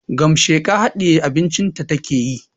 Gamasheka hadiye abincin ta take yi